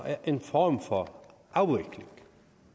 er en form for afvikling